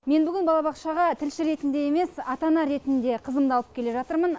мен бүгін балабақшаға тілші ретінде емес ата ана ретінде қызымды алып келе жатырмын